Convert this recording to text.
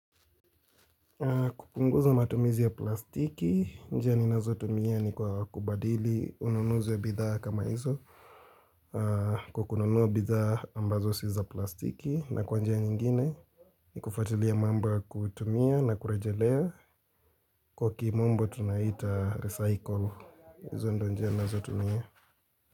Kupunguza matumizi ya plastiki njia ninazo tumia ni kwa kubadili ununuzi ya bidhaa kama hizo Kwa kununua bidhaa ambazo si za plastiki na kwa njia nyingine Nikufatulia mambo ya kuitumia na kurejelea kwa kimombo tunaita recycle hizo ndizo njia ninazo tumia.